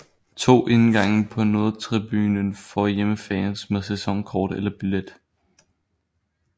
To indgange på nordtribunen for hjemmefans med sæsonkort eller billet